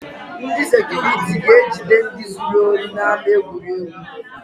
Ndị sekuriti ga-ejide ndị zuru ohi n’ama egwuregwu